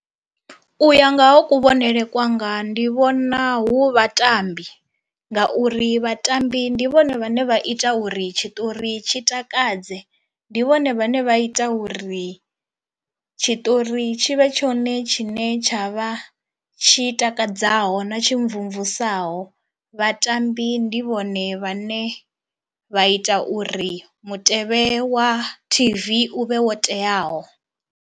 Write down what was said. U ya nga ha kuvhonele kwanga ndi vhona hu vhatambi ngauri vhatambi ndi vhone vhane vha ita uri tshiṱori tshi takadze, ndi vhone vhane vha ita uri tshitori tshi vhe tshone tshine tsha vha tshi takadzaho na tshi mmvumvusaho. Vhatambi ndi vhone vhane vha ita uri mutevhe wa T_V uvhe wo teaho.